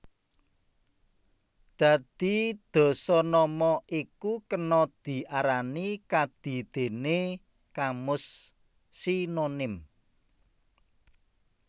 Dadi dasanama iku kena diarani kadidèné kamus sinonim